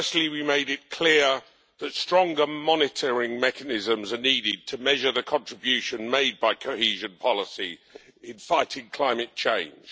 We made it clear, firstly, that stronger monitoring mechanisms are needed to measure the contribution made by cohesion policy in fighting climate change